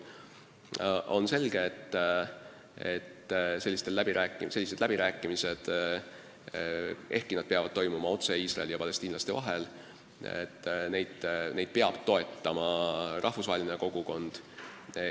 Samas on selge, et selliseid läbirääkimisi, ehkki need peavad toimuma otse Iisraeli ja palestiinlaste vahel, peab toetama rahvusvaheline kogukond.